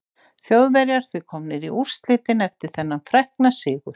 Þjóðverjar því komnir í úrslitin eftir þennan frækna sigur.